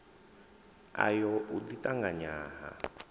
ayo u ḓi ṱanganya ha